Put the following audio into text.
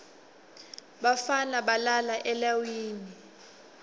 bafana balala eleiwini